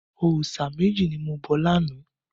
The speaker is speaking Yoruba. Òòṣà méjì ni mo bọ lánàá.